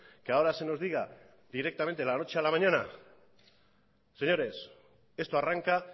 que ahora se nos diga directamente de la noche a la mañana señores esto arranca